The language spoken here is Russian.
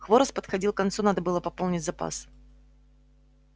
хворост подходил к концу надо было пополнить запас